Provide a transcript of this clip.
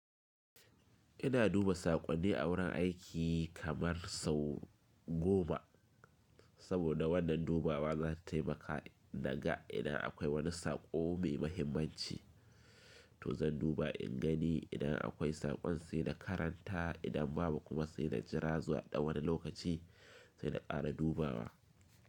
Ina duba saƙonni a wurin aiki kamar sau goma saboda wannan dubawa za ta taimaka naga idan akwai wani saƙo mai mahimmanci to zan duba in gani idan akwai saƙon sai na karanta idan babu kuma sai na jira zuwa ɗan wani lokaci sai na ƙara dubawa.